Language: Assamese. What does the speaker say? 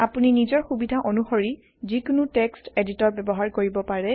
আপুনি নিজৰ সুবিধা অণুশৰি যিকোনো টেক্সট এডিটৰ ব্যৱহাৰ কৰিব পাৰে